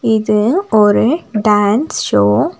இது ஒரு dance show .